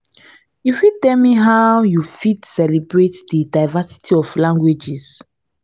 you fit tell me how you fit celebrate di diversity of languages?